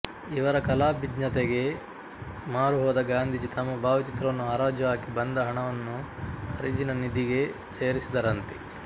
ಇವರ ಕಲಾಭಿಜ್ಞತೆಗೆ ಮಾರುಹೋದ ಗಾಂಧೀಜಿ ತಮ್ಮ ಭಾವಚಿತ್ರವನ್ನು ಹರಾಜು ಹಾಕಿ ಬಂದ ಹಣವನ್ನು ಹರಿಜನ ನಿಧಿಗೆ ಸೇರಿಸಿದರಂತೆ